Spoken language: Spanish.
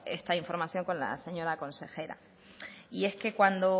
esta información con la señora consejera y es que cuando